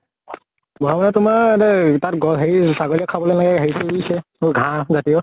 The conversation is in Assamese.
বহাব তোমাৰ মানে সিহতে তাত হেৰি তাত ছাগলী য়ে খাবলে এনেকে হেৰি কৰি দিছে, ঘাঁহ জাতীয় ।